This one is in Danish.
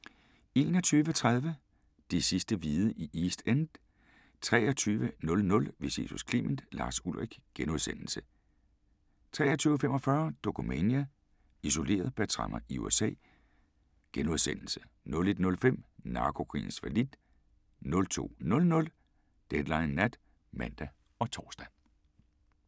21:30: De sidste hvide i East End 23:00: Vi ses hos Clement: Lars Ulrich * 23:45: Dokumania: Isoleret – bag tremmer i USA * 01:05: Narkokrigens fallit 02:00: Deadline Nat (man og tor)